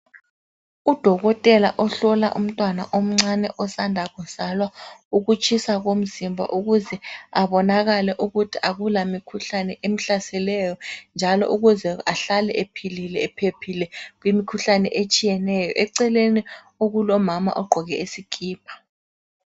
Udokotela ohlola umntwana omncane osanda kuzalwa ukutshisa komzimba ukuze abonakale ukuthi akula mikhuhlane emhlaseleyo njalo ukuze ahlale ephilile ephephile kumikhuhlane etshiyeneyo. Eceleni okulomama ogqoke isikipa.